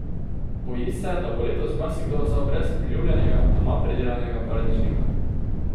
Boji se, da bo letos marsikdo ostal brez priljubljenega doma pridelanega paradižnika.